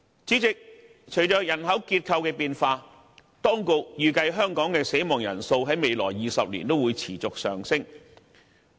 主席，隨着人口結構的變化，當局預計香港的死亡人數在未來20年將會持續上升。